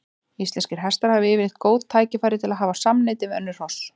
Íslenskir hestar hafa yfirleitt góð tækifæri til að hafa samneyti við önnur hross.